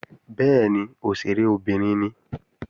Bẹ́ẹ̀ni, òṣèré obìnrin ni